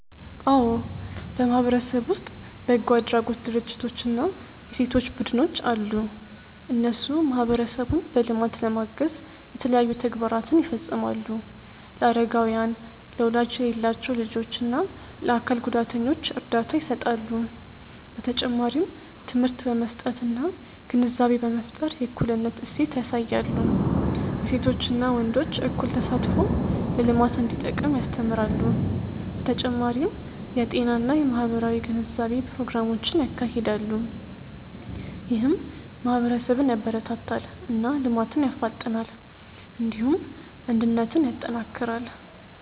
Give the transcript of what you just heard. አዎ በማህበረሰብ ውስጥ በጎ አድራጎት ድርጅቶች እና የሴቶች ቡድኖች አሉ። እነሱ ማህበረሰቡን በልማት ለማገዝ የተለያዩ ተግባራትን ይፈጽማሉ። ለአረጋውያን፣ ለወላጅ የሌላቸው ልጆች እና ለአካል ጉዳተኞች እርዳታ ይሰጣሉ። በተጨማሪም ትምህርት በመስጠት እና ግንዛቤ በመፍጠር የእኩልነት እሴት ያሳያሉ። የሴቶችና ወንዶች እኩል ተሳትፎ ለልማት እንዲጠቅም ያስተምራሉ። በተጨማሪም የጤና እና የማህበራዊ ግንዛቤ ፕሮግራሞችን ያካሂዳሉ። ይህም ማህበረሰብን ያበረታታል እና ልማትን ያፋጥናል። እንዲሁም አንድነትን ያጠናክራል።